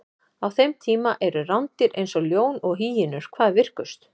á þeim tíma eru rándýr eins og ljón og hýenur hvað virkust